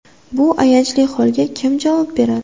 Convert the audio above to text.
Bu ayanchli holga kim javob beradi?